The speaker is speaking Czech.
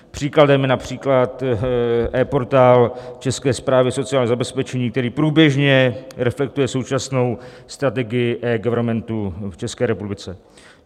Příkladem je například ePortál České správy sociálního zabezpečení, který průběžně reflektuje současnou strategii eGovernmentu v České republice.